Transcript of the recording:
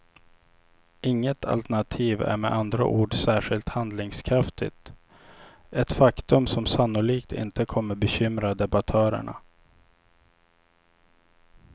Inget alternativ är med andra ord särskilt handlingskraftigt, ett faktum som sannolikt inte kommer bekymra debattörerna.